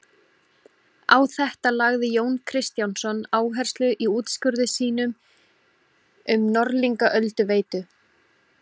Á þetta lagði Jón Kristjánsson áherslu í úrskurði sínum um Norðlingaölduveitu.